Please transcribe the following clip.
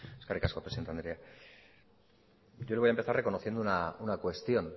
eskerrik asko presidente andrea yo le voy a empezar reconociendo una cuestión